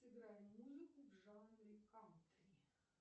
сыграй музыку в жанре кантри